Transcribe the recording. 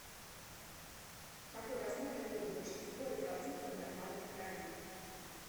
какой размер имеют большинство эритроцитов в нормальной крови